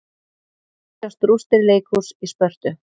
Hér sjást rústir leikhúss í Spörtu.